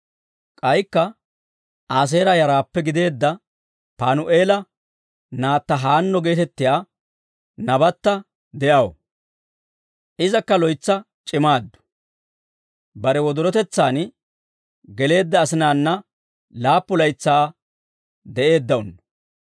K'aykka Aaseera yaraappe gideedda Paanu'eela naatta Haanno geetettiyaa nabatta de'aw; Izakka loytsa c'imaaddu. Bare wodorotetsaan geleedda asinaana laappu laytsaa de'eeddawunno.